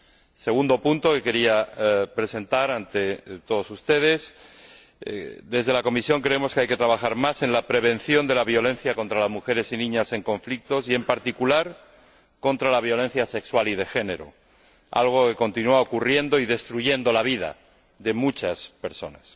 El segundo punto que quería presentar ante todos ustedes es que, desde la Comisión, creemos que hay que trabajar más en la prevención de la violencia contra las mujeres y niñas en conflictos, y, en particular, contra la violencia sexual y de género, algo que continúa ocurriendo y destruyendo la vida de muchas personas.